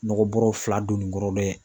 Nɔgɔ bɔɔrɔ fila don nin kɔrɔ dɛ.